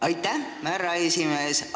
Aitäh, härra esimees!